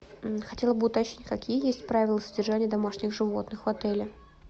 хотела бы уточнить какие есть правила содержания домашних животных в отеле